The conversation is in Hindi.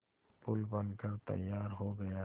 पुल बनकर तैयार हो गया है